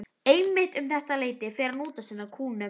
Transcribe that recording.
Einmitt um þetta leyti fer hann út að sinna kúnum.